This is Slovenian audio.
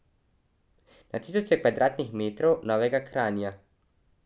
Na tisoče kvadratnih metrov novega Kranja ...